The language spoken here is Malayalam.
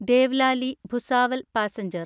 ദേവ്ലാലി ഭുസാവൽ പാസഞ്ചർ